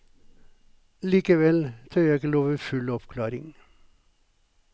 Likevel tør jeg ikke love full oppklaring.